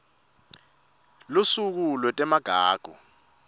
lusuku lwetemagugu